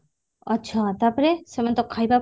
ଆଛା ତାପରେ ସେମାନେ ତ ଖାଇବା